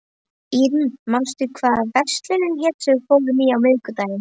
Irmý, manstu hvað verslunin hét sem við fórum í á miðvikudaginn?